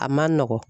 A man nɔgɔn